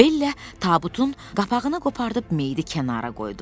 Bellə tabutun qapağını qopardıb meyidi kənara qoydular.